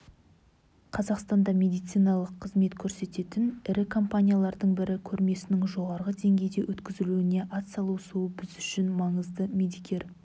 қазақстанда медициналық қызмет көрсететін ірі компаниялардың бірі көрмесінің жоғарғы деңгейде өткізілуіне атсалысуы біз үшін маңызды медикер